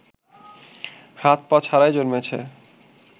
হাত-পা ছাড়াই জন্মেছে